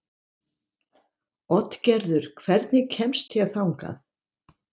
Oddgerður, hvernig kemst ég þangað?